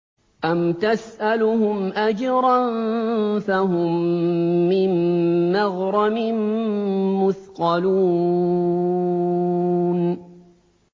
أَمْ تَسْأَلُهُمْ أَجْرًا فَهُم مِّن مَّغْرَمٍ مُّثْقَلُونَ